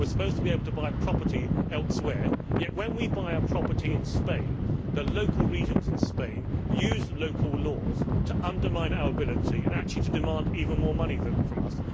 we are supposed to be able to buy property elsewhere yet, when we buy a property in Spain, the regions in Spain use local laws to undermine our ability and to actually demand even more money from us.